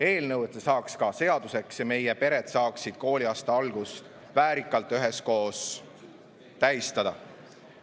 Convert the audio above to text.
Eelnõu saaks seaduseks ja meie pered saaksid kooliaasta algust väärikalt üheskoos tähistada.